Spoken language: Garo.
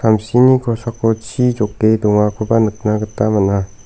samsini kosako chi joke dongakoba nikna gita man·a.